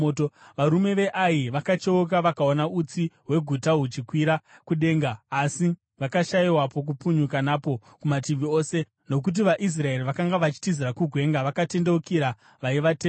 Varume veAi vakacheuka vakaona utsi hweguta huchikwira kudenga, asi vakashayiwa pokupukunyuka napo kumativi ose, nokuti vaIsraeri vakanga vachitizira kugwenga vakatendeukira vaivatevera.